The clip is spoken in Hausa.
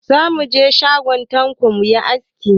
Za mu je shagon Tanko mu yi aski.